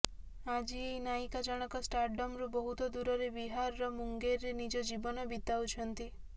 ଆଜି ଏହି ନାୟିକା ଜଣକ ଷ୍ଟାରଡମରୁ ବହୁତ ଦୂରରେ ବିହାରର ମୁଙ୍ଗେରରେ ନିଜର ଜୀବନ ବିତାଉଛନ୍ତି